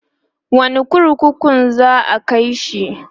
wani kurkukun za'a kaishi?